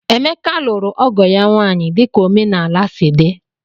Emeka lụrụ ọgo ya nwaanyị dika omenala sị di